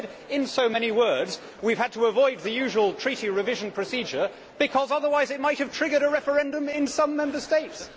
He said in so many words that we have had to avoid the usual Treaty revision procedure because otherwise it might have triggered a referendum in some Member States!